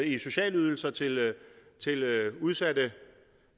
i sociale ydelser til udsatte